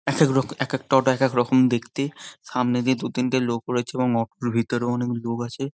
একেক টা এক একটা অটো একেক রকম দেখতে সামনে দিয়ে দুতিনটে লোক রয়েছে এবং অটোর ভেতরে অনেক লোক আছে।